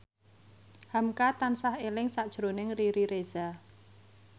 hamka tansah eling sakjroning Riri Reza